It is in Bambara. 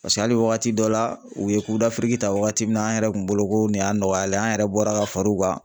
Paseke hali wagati dɔ la u ye ta wagati min na an yɛrɛ kun bolo ko nin y'a nɔgɔyalen ye an yɛrɛ bɔra ka far'u kan